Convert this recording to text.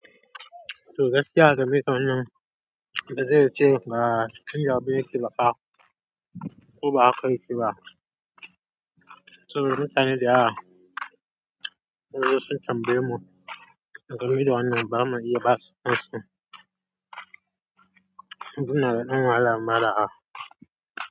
To gaskiya game da wannan, gaskiya ce ma, in yau ba yake baƙa, kuwa ba aka kai shi ba. Saboda mutane da yawa sun zo sun tambaye mu game da wannan, ba za mu iya ba su amsa ba. Mun zuna da namu ala'amala a.